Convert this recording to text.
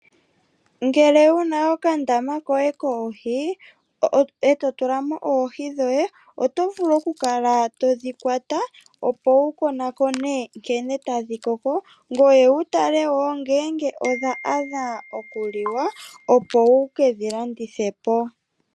Ngele wuna okandama koye koohi eto tulamo oohi dhoye otovulu okukala todhi kwata opo wukonakone nkene tadhi koko ngoye wutale ngele odha adha okuliwa opo wukedhi landithepo.